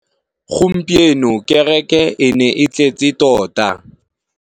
Gompieno kêrêkê e ne e tletse tota.